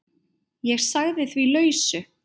Ég sagði því lausu.